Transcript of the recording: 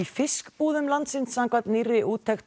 fiskbúðum landsins samkvæmt nýrri úttekt